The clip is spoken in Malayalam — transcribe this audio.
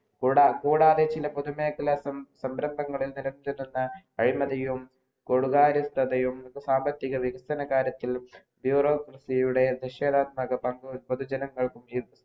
കൂടാതെ ചില പൊതുമേഖല സംഭ്രമങ്ങളിൽ നേരിടുന്ന അഴിമതിയും സാമ്പത്തിക വികസനത്തിലും യൂറോപിയുടെ ദശകമാനം പങ്കു പൊതുജനങ്ങൾക്കും